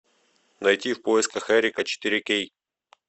найти в поисках эрика четыре кей